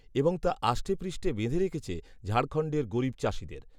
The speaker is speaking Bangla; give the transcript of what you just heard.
এবং তা আষ্টেপৃষ্ঠে বেঁধে রেখেছে ঝাড়খণ্ডের গরিব চাষিদের